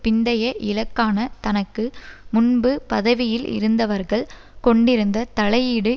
பிந்தைய இலக்கான தனக்கு முன்பு பதவியில் இருந்தவர்கள் கொண்டிருந்த தலையீடு